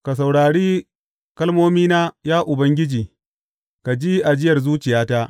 Ka saurare kalmomina, ya Ubangiji, ka ji ajiyar zuciyata.